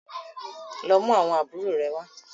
lọ mú àwọn àbúrò rẹ wá!